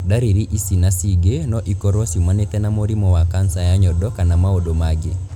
Ndariri ici na cingĩ no ikorũo ciumanĩte na mũrimũ wa kanca ya nyondo kana maũndu mangĩ